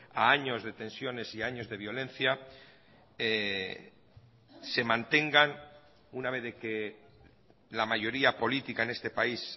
a años de tensiones y a años de violencia se mantengan una vez de que la mayoría política en este país